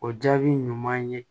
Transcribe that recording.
O jaabi ɲuman ye